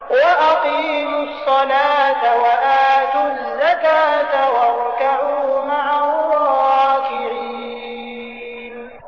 وَأَقِيمُوا الصَّلَاةَ وَآتُوا الزَّكَاةَ وَارْكَعُوا مَعَ الرَّاكِعِينَ